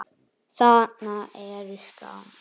Þarna eru skáld.